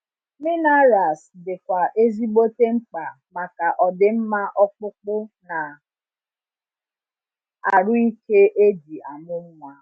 Minerals di kwa ezigbote mkpa maka ọdimma ọkpụkpụ na arụ ike eji amụ nwa